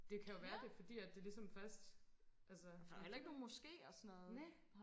det kan jo være det er fordi at det er ligesom først altså næh